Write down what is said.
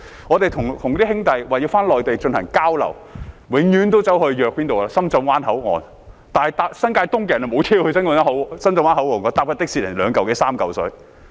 我們跟一些兄弟回內地進行交流，永遠都是相約在深圳灣口岸，但是新界東的市民沒有公共交通工具前往深圳灣口岸，如果乘坐的士則要二三百元。